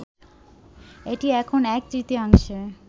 এটি এখন এক-তৃতীয়াংশে